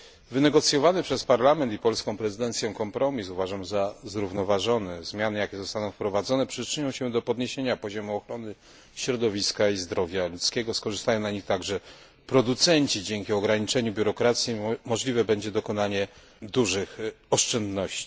Wynegocjowany przez Parlament i polską prezydencję kompromis uważam za zrównoważony. Zmiany, jakie zostaną wprowadzone przyczynią się do podniesienia poziomu ochrony środowiska i zdrowia ludzkiego. Skorzystają na nich także producenci. Dzięki ograniczeniu biurokracji możliwe będzie dokonanie dużych oszczędności.